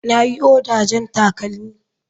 Na yi oda jan takalmi.